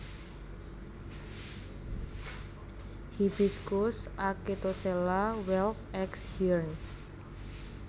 Hibiscus acetosella Welw ex Hiern